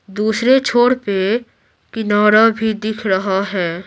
दूसरे छोड़ पे किनारा भी दिख रहा है।